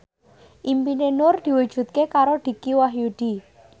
impine Nur diwujudke karo Dicky Wahyudi